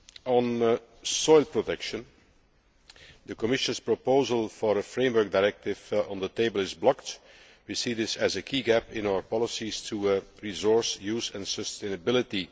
On soil protection, the Commission's proposal for a framework directive on the table is blocked. We see this as a key gap in our policies for resource use and sustainability.